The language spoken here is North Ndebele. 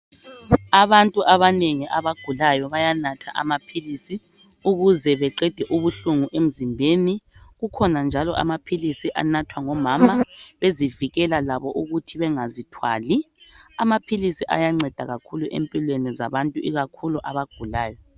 Abantu abanengi abagulayo bayanatha amaphilisi ukuze beqede ubuhlungu emzimbeni. Kukhona njalo amaphilisi anathwa ngomama bezivikela labo ukuthi bengazithwali. Amaphilisi ayanceda kakhulu empilweni zabantu ikakhulu abagulayo.